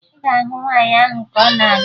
Ị ga-ahụ nwaanyị ahụ ka ọ na abịa